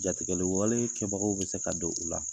Jatigɛli wale kɛbagaw bɛ se ka don u la.